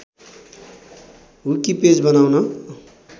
wiki page बनाउन